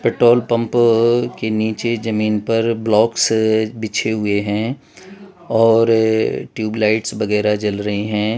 Petrol pump के नीचे जमीन पर ब्लॉक्स बिछे हुए हैं और ट्यूबलाइट वगैरा जल रहे हैं।